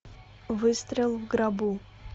выстрел в гробу